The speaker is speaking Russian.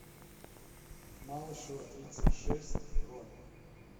малышева тридцать шесть бронь